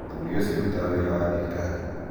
mũthuriũcio arutaga wĩra wa thirikari